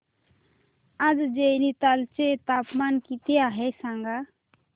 आज नैनीताल चे तापमान किती आहे सांगा